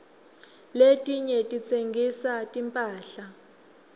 letinye titsengisa timphahla